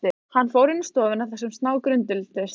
Hann fór inn í stofuna þar sem snákurinn duldist.